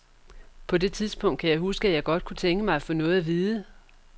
På det tidspunkt kan jeg huske, at jeg godt kunne tænke mig at få noget at vide.